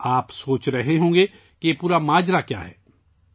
آپ سوچ رہے ہوں گے کہ یہ سارا معاملہ کیا ہے!